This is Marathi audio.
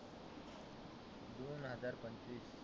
दोन हजार पंचवीस.